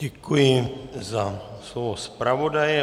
Děkuji za slovo zpravodaje.